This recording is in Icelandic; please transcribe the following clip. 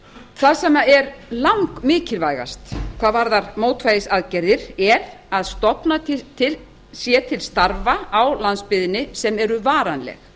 það sem er langmikilvægast er að stofnað sé til starfa á landsbyggðinni sem eru varanleg